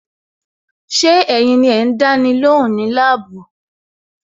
Ṣé ẹ̀yin ni ẹ ń dáni lóhùn ní labuu?